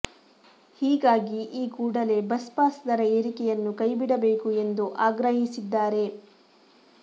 ಹೀಗಾಗಿ ಈ ಕೂಡಲೇ ಬಸ್ ಪಾಸ್ ದರ ಏರಿಕೆಯನ್ನು ಕೈಬಿಡಬೇಕು ಎಂದು ಆಗ್ರಹಿಸಿದ್ದಾರೆ